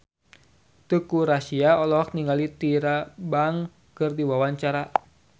Teuku Rassya olohok ningali Tyra Banks keur diwawancara